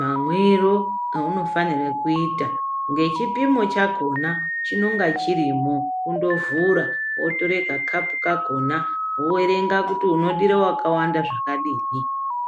mamwiro eunofanira kuita ngechipimo chakona chinonga chirimwo ngundovhura wotora kakapu kakona woerenga kuti unodire wakawanda zvakadini.